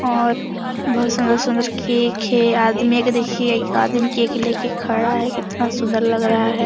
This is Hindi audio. और बहुत सुन्दर-सुन्दर केक है आदमी देखिये एक आदमी केक ले के खड़ा है कितना सुन्दर लग रहा है।